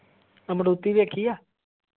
ਆਹ maruti ਦੇਖੀ ਆ?